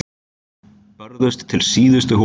Börðust til síðustu holu